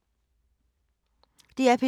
DR P2